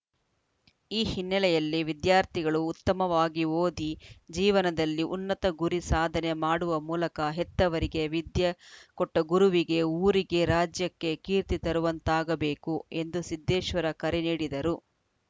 ಈ ಹಿನ್ನೆಲೆಯಲ್ಲಿ ವಿದ್ಯಾರ್ಥಿಗಳು ಉತ್ತಮವಾಗಿ ಓದಿ ಜೀವನದಲ್ಲಿ ಉನ್ನತ ಗುರಿ ಸಾಧನೆ ಮಾಡುವ ಮೂಲಕ ಹೆತ್ತವರಿಗೆ ವಿದ್ಯೆ ಕೊಟ್ಟಗುರುವಿಗೆ ಊರಿಗೆ ರಾಜ್ಯಕ್ಕೆ ಕೀರ್ತಿ ತರುವಂತಾಗಬೇಕು ಎಂದು ಸಿದ್ದೇಶ್ವರ ಕರೆ ನೀಡಿದರು